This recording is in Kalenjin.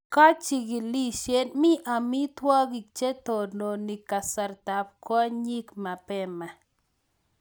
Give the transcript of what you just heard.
Kachigilisyet: Mi amitwogik che tononi kasartab kwonyik mabema